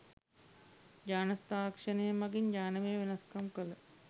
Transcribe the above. ජාන තාක්ෂණය මගින් ජානමය වෙනස්කම් කළ